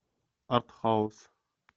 артхаус